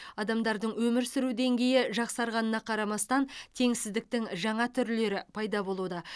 адамдардың өмір сүру деңгейі жақсарғанына қарамастан теңсіздіктің жаңа түрлері пайда болуда